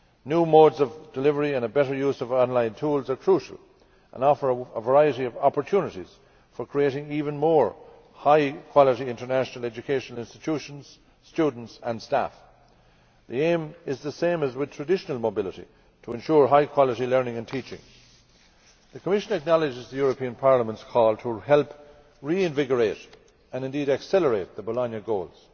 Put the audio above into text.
New modes of delivery and a better use of online tools are crucial and offer a variety of opportunities for creating even more high quality international education institutions, students and staff. The aim is the same as with traditional mobility to ensure high quality learning and teaching. The Commission acknowledges Parliament's call to help reinvigorate and indeed accelerate the Bologna goals.